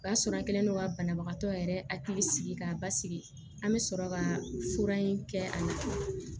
O y'a sɔrɔ an kɛlen don ka banabagatɔ yɛrɛ hakili sigi k'a basigi an bɛ sɔrɔ ka fura in kɛ a ɲɛ